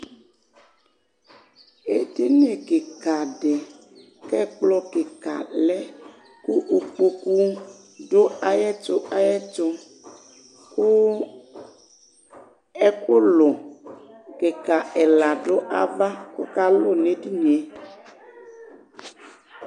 édini kïka dï kɛ kplɔ kika lẽ kʊ ũkpokũ du eyɛtũ ayetũ kʊ ɛkʊlʊ kïka ɛlă dʊ ava kɔkalʊ nédinié